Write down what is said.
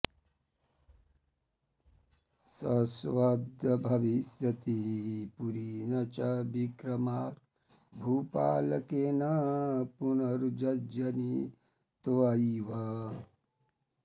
शश्वद्भविष्यति पुरी न च विक्रमार्क भूपालकेन पुनरुज्जयिनी त्वयैव